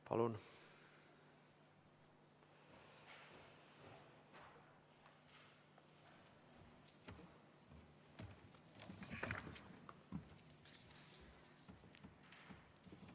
Palun!